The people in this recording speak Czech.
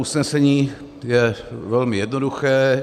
Usnesení je velmi jednoduché.